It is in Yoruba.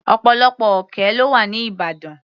Ọ̀pọ̀lọpọ̀ òkè lọ́wà ní ìbàdàn.